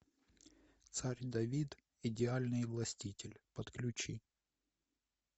царь давид идеальный властитель подключи